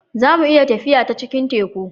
za mu iya tafiya ta cikin Teku